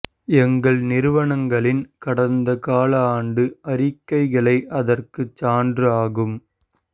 எங்கள் நிறுவனங்களின் கடந்த கால ஆண்டு அறிக்கைகளே அதற்கு சான்று ஆகும்